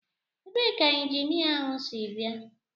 Ebee ka injinia ahụ si bịa?